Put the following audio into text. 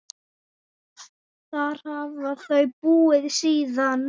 Þar hafa þau búið síðan.